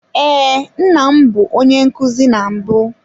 Ee, nna m bụ onye nkuzi na mbụ.